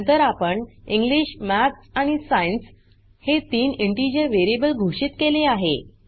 नंतर आपण English maths आणि सायन्स हे तीन इंटिजर वेरीयेबल घोषित केले आहे